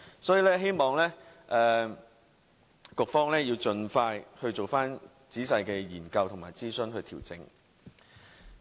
所以，我希望局方盡快進行仔細研究和諮詢，作出調整。